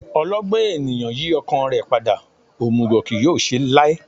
Ọlọgbọ́n ènìyàn yí ọkàn rẹ̀ padà, òmùgọ̀ kì yóò ṣe láé